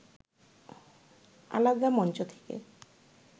আলাদা মঞ্চ থেকে